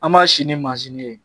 An b'a sin ni mansin ye